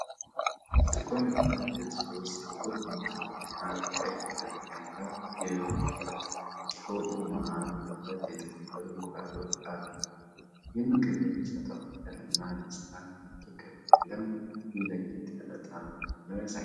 በጥቁር የብረት ድስት ውስጥ ጥቁር ቡናማና ቀይ ቀለም ያለው የዶሮ ወጥ፣ በወጡ መሃል ለሁለት የተከፈሉ እንቁላሎች አሉ። ይህ ምግብ የሚሰጠው ፍቅር እና ደስታ እጅግ ከፍ ያለ ነው። ይህም ለየት ያለ ጣዕም እንዳለው ያሳያል።